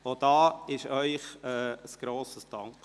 Auch dafür gebührt Ihnen ein grosses Dankeschön.